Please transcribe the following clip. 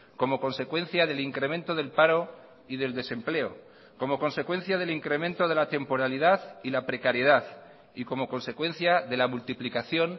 como consecuencia del incremento del paro y del desempleo como consecuencia del incremento de la temporalidad y la precariedad y como consecuencia de la multiplicación